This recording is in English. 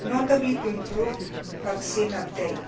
notably, to improve vaccine update.